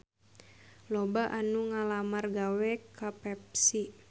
Loba anu ngalamar gawe ka Pepsi